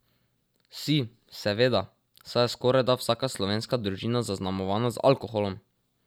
Si, seveda, saj je skorajda vsaka slovenska družina zaznamovana z alkoholom!